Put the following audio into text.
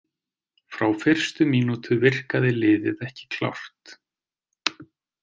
Frá fyrstu mínútu virkaði liðið ekki klárt.